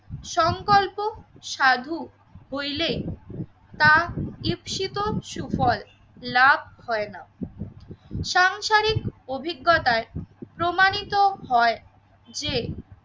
সংকল্প সাধু হইলে তা দীপ শীতও সুফল লাভ হয় না, সাংসারিক অভিজ্ঞতায় প্রমাণিত হয় যে